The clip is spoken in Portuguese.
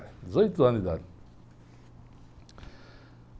dezoito anos de idade.